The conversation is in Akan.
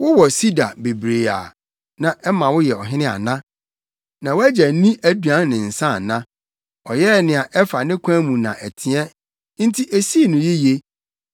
“Wowɔ sida bebree a na ɛma woyɛ ɔhene ana? Na wʼagya nni aduan ne nsa ana? Ɔyɛɛ nea ɛfa ne kwan mu na ɛteɛ, enti esii no yiye.